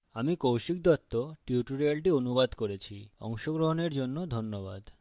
আমি কৌশিক দত্ত tutorial অনুবাদ করেছি অংশগ্রহনের জন্য ধন্যবাদ